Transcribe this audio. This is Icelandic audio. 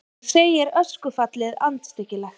Hann segir öskufallið andstyggilegt